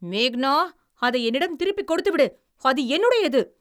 மேகனா, அதை என்னிடம் திருப்பிக் கொடுத்துவிடு அது என்னுடையது!